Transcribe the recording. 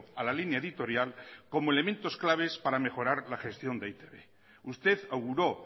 a la línea editorial como elementos claves para mejorar la gestión de e i te be usted auguró